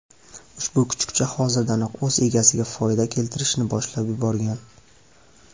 Ushbu kuchukcha hozirdanoq o‘z egasiga foyda keltirishni boshlab yuborgan.